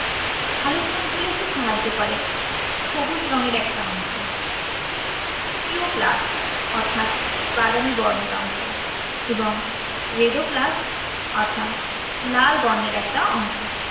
সালোকসংশ্লেষে সাহায্য করে সবুজ রঙের একটা অংশ। thioplast অর্থাৎ বাদামি বর্ণের অংশ। এবং redoplast অর্থাৎ লাল বর্ণের একটা অংশ।